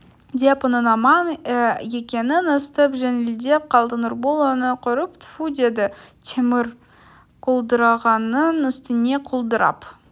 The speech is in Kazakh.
деп оның аман екенін естіп жеңілдеп қалды нұрбол оны көріп тфу деді темір құлдырағанның үстіне құлдырап